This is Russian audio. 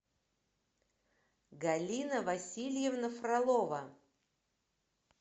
галина васильевна фролова